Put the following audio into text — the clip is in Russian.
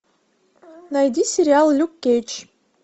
найди сериал люк кейдж